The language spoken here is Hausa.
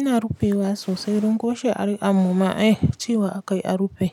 Ina rufe wa sosai don ko she ari a mumma eh cewa a kai a rufe